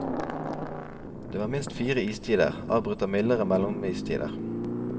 Det var minst fire istider, avbrutt av mildere mellomistider.